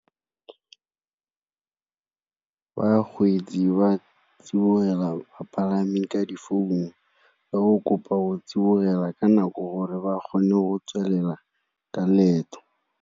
Bakgweetsi ba tsibogela bapalami ka difounu, ka go kopa o tsibogela ka nako gore ba kgone go tswelela ka leeto.